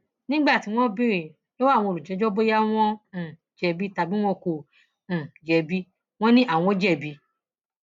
nígbà tí wọn béèrè lọwọ àwọn olùjẹjọ bóyá wọn um jẹbi tàbí wọn kò um jẹbi wọn ni àwọn jẹbi